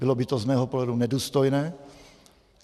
Bylo by to z mého pohledu nedůstojné.